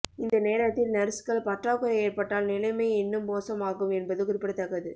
இந்த நேரத்தில் நர்ஸ்கள் பற்றாக்குறை ஏற்பட்டால் நிலைமை இன்னும் மோசமாகும் என்பது குறிப்பிடத்தக்கது